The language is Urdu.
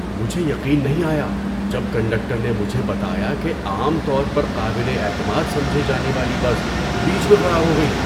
مجھے یقین نہیں آیا جب کنڈکٹر نے مجھے بتایا کہ عام طور پر قابل اعتماد سمجھی جانے والی بس بیچ میں خراب ہو گئی!